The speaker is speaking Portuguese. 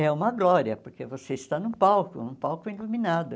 É uma glória, porque você está num palco, num palco iluminado.